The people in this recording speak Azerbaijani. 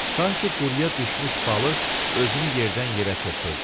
Sanki quruya düşmüş balıq özünü yerdən-yerə çırpırdı.